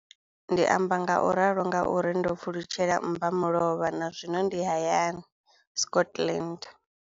Ndi amba ngauralo nga uri ndo pfulutshela mmbamulovha na zwino ndi hayani, Scotland.